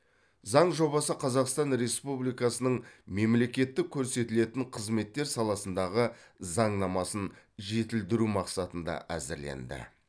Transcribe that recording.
заң жобасы қазақстан республикасының мемлекеттік көрсетілетін қызметтер саласындағы заңнамасын жетілдіру мақсатында әзірленді